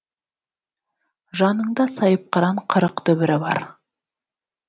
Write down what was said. жаныңда сайыпқыран қырық дүбірі бар